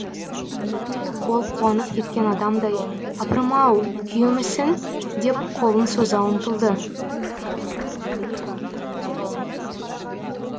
ол қуанып кеткен адамдай апырым ау күйеумісің деп қолын соза ұмтылды